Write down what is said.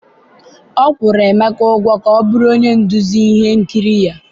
ọ kwụrụ Emeka ka ọ bụrụ onye nduzi ihe nkiri ya.